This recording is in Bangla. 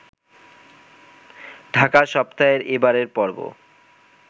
ঢাকা সপ্তাহের এবারের পর্ব